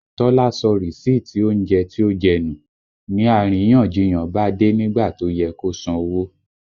Tọ́lá sọ rìsíìtì oúnjẹ tí ó jẹ́ nù, ni àríyànjiyàn bá dé nígbà tó yẹ kó san owó